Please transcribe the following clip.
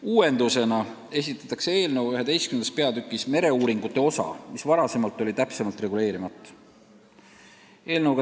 Uuendusena sisaldab eelnõu oma 11. peatükis mereuuringute osa, mis seni on olnud täpsemalt reguleerimata.